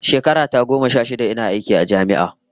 Shekara ta goma sha shida ina aiki a jami'a